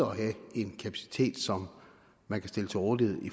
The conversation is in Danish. have en kapacitet som man kan stille til rådighed